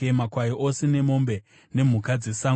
makwai ose nemombe, nemhuka dzesango,